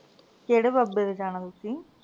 ਕਿਹੜੇ ਬਾਬੇ ਦੇ ਜਾਣਾ ਤੁਸੀਂ